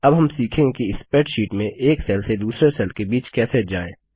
अब हम सीखेंगे कि स्प्रैडशीट में एक सेल से दूसरे सेल के बीच कैसे जाएँ